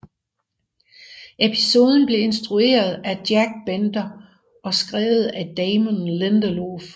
Episoden blev instrueret af Jack Bender og skrevet af Damon Lindelof